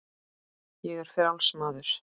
Ég er frjáls maður!